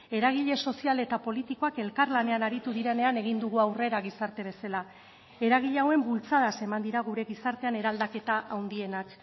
eragile sozial eta politikoak elkarlanean aritu direnean egin dugu aurrera gizarte bezala eragile hauen bultzadaz eman dira gure gizartean eraldaketa handienak